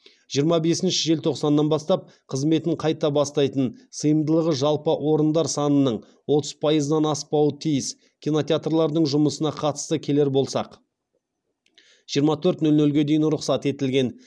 жиырма бесінші желтоқсаннан бастап қызметін қайта бастайтын сыйымдылығы жалпы орындар санының отыз пайызынан аспауы тиіскинотеатрлардың жұмысына қатысты келер болсақ жиырма төрт нөл нөлге дейін рұқсат етілген